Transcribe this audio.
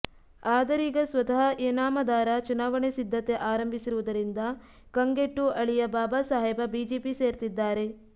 ಆದರೀಗ ಸ್ವತಃ ಇನಾಮದಾರ ಚುನಾವಣೆ ಸಿದ್ಧತೆ ಆರಂಭಿಸಿರುವುದರಿಂದ ಕಂಗೆಟ್ಟು ಅಳಿಯ ಬಾಬಾಸಾಹೇಬ ಬಿಜೆಪಿ ಸೇರ್ತಿದ್ದಾರೆ